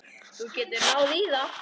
Þú getur náð í það.